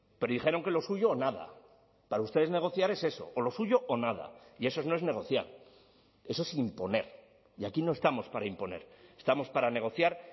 pero dijeron que lo suyo o nada para ustedes negociar es eso o lo suyo o nada y eso no es negociar eso es imponer y aquí no estamos para imponer estamos para negociar